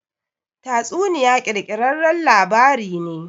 Tatsuniya ƙirƙirarren labari ne.